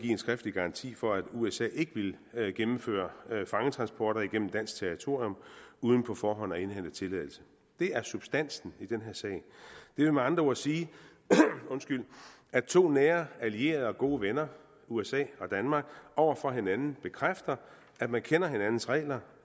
en skriftlig garanti for at usa ikke ville gennemføre fangetransporter igennem dansk territorium uden på forhånd at indhente tilladelse det er substansen i den her sag det vil med andre ord sige at to nære allierede og gode venner usa og danmark over for hinanden bekræfter at man kender hinandens regler